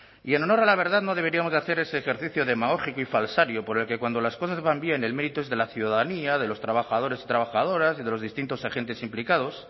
y en honor a la verdad no deberíamos hacer ese ejercicio demagógico y falsario por el que cuando las cosas van bien el mérito es de la ciudadanía de los trabajadores y trabajadoras y de los distintos agentes implicados